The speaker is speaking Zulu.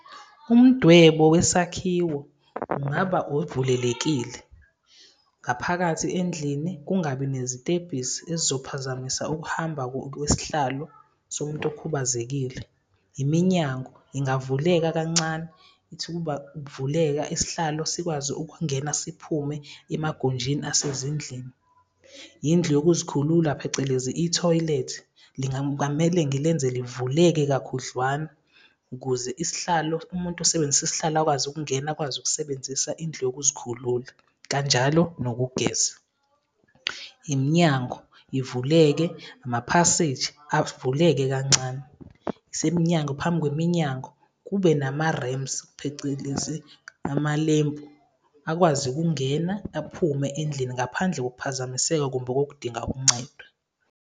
Umdwebo wesakhiwo ungaba ovulelekile, ngaphakathi endlini, kungabi nezitebhisi ezophazamisa ukuhamba kwesihlalo somuntu okhubazekile. Iminyango ingavuleka kancane, ithi ukuba ukuvuleka, isihlalo sikwazi ukungena siphume emagunjini asezindlini. Yindlu yokuzikhulula, phecelezi ithoyilethi kungamele ngilenze livuleke kakhudlwana, ukuze isihlalo, umuntu osebenzisa isihlalo akwazi ukungena, akwazi ukusebenzisa indlu yokuzikhulula kanjalo nokugeza. Iminyango ivuleke namaphaseji avuleke kancane. Isemnyango phambi kweminyango, kube nama-ramps, phecelezi amalempu, akwazi ukungena aphume endlini ngaphandle wokuphazamiseka okudinga uncedwe.